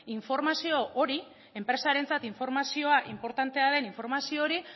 informazio hori enpresarentzat informazioa inportantea den informazio hori